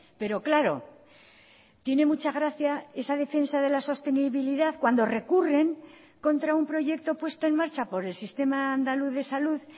pero claro tiene mucha gracia esa defensa de la sostenibilidad cuando recurren contra un proyecto puesto en marcha por el sistema andaluz de salud